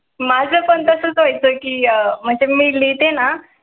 माझा पण तसच असत की म्हणजे मी लिहिते ना